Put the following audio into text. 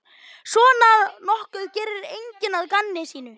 Svona nokkuð gerir enginn að gamni sínu.